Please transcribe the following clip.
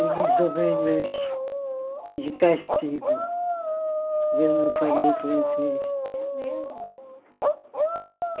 Eu não estou bem de castigo, porque eu não falo em francês. É mesmo